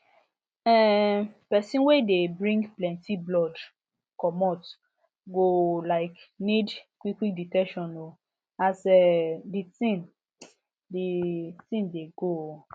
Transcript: um pesin wey dey bring plenty blood comot go like need quick quick detection um as um the tin the tin dey go um